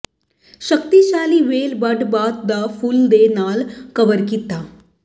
ਸ਼ਕਤੀਸ਼ਾਲੀ ਵੇਲ ਬਡ ਬਾਅਦ ਦੁ ਫੁੱਲ ਦੇ ਨਾਲ ਕਵਰ ਕੀਤਾ